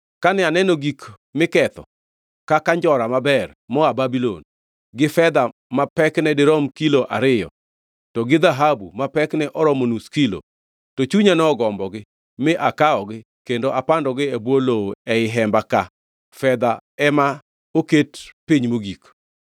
Kane aneno gik miketho kaka njora maber moa Babulon, gi fedha ma pekne dirom kilo ariyo, to gi dhahabu ma pekne oromo nus kilo, to chunya nogombogi mi akawogi kendo apandogi e bwo lowo ei hemba ka fedha ema oket piny mogik.”